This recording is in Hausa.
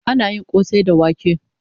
Ana yin kosai da wake